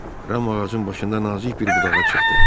Ram ağacın başında nazik bir budağa çıxdı.